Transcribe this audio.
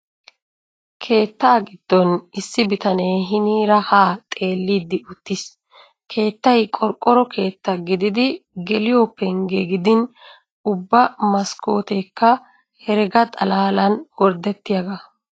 Keettaa giddon issi bitanee hiniira haa xeelliiddi uttiiss. Keettay qorqqoro keetta gididi geliyo penggee gidin ubba maskkooteekk herega xalaalan gorddettiyagaa.